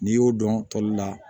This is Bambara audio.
N'i y'o dɔn tɔli la